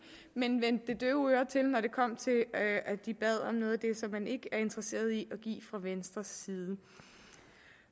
men man vendte det døve øre til når det kom til at at de bad om noget af det som man ikke interesseret i at give fra venstres side